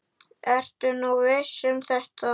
Ertu nú viss um þetta?